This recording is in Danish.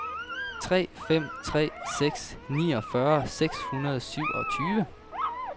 tre fem tre seks niogfyrre seks hundrede og syvogtyve